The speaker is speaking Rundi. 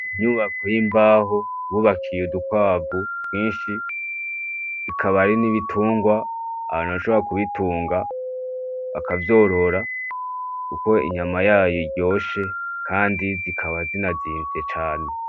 Inyubako y’imbaho bubakiye udukwavu twinshi, bikaba ari n’ibitungwa abantu bashobora kubitunga , bakavyorora Kuko inyama yayo iryoshe kandi zikaba zinazimvye cane .